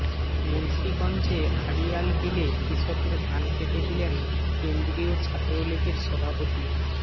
মুন্সীগঞ্জে আড়িয়ালবিলে কৃষকের ধান কেটে দিলেন কেন্দ্রীয় ছাত্রলীগের সভাপত